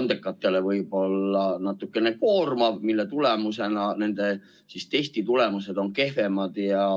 andekatele võib-olla natukene koormav ja selle tagajärjel nende testitulemused on kehvemad.